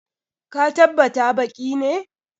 Ka tabbt baki ne!